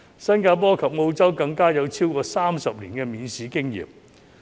新加坡及澳洲更有超過30年的免試經驗。